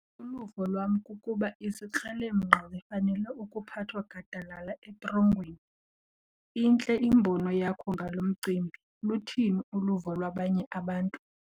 Uluvo lwam kukuba izikrelemnqa zifanele ukuphathwa gadalala etrongweni. intle imbono yakho ngalo mcimbi, luthini uluvo lwabanye abantu?